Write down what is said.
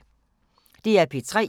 DR P3